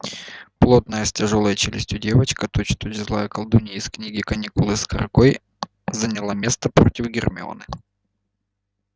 плотная с тяжёлой челюстью девочка точь-в-точь злая колдунья из книги каникулы с каргой заняла место против гермионы